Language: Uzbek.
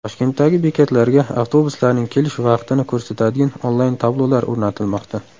Toshkentdagi bekatlarga avtobuslarning kelish vaqtini ko‘rsatadigan onlayn-tablolar o‘rnatilmoqda.